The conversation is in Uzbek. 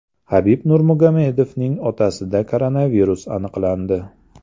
Habib Nurmagomedovning otasida koronavirus aniqlandi.